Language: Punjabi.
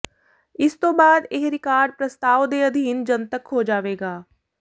ਇਸ ਤੋਂ ਬਾਅਦ ਇਹ ਰਿਕਾਰਡ ਪ੍ਰਸਤਾਵ ਦੇ ਅਧੀਨ ਜਨਤਕ ਹੋ ਜਾਵੇਗਾ